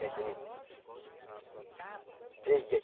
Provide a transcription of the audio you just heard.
Festa de... Três dias.